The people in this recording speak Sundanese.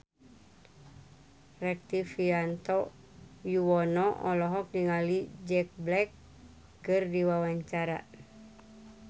Rektivianto Yoewono olohok ningali Jack Black keur diwawancara